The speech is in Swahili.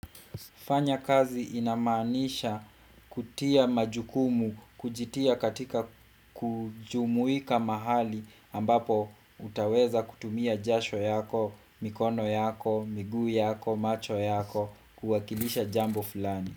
Fanya kazi inamanisha kutia majukumu kujitia katika kujumuika mahali ambapo utaweza kutumia jasho yako, mikono yako, miguu yako, macho yako, kuwakilisha jambo fulani.